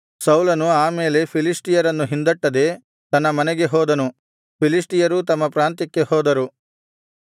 ಸೌಲನು ಆ ಮೇಲೆ ಫಿಲಿಷ್ಟಿಯರನ್ನು ಹಿಂದಟ್ಟದೆ ತನ್ನ ಮನೆಗೆ ಹೋದನು ಫಿಲಿಷ್ಟಿಯರೂ ತಮ್ಮ ಪ್ರಾಂತ್ಯಕ್ಕೆ ಹೋದರು